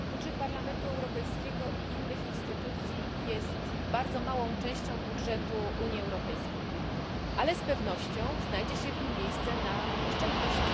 Budżet parlamentu Europejskiego i innych instytucji jest bardzo małą częścią budżetu Unii Europejskiej, ale z pewnością znajdzie się w nim miejsce na oszczędności.